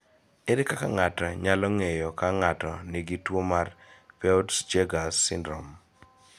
Ere kaka ng�ato nyalo ng�eyo ka ng�ato nigi tuo mar Peutz Jeghers syndrome?